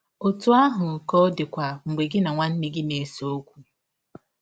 Ọtụ ahụ ka ọ dịkwa mgbe gị na nwanne gị na - ese ọkwụ.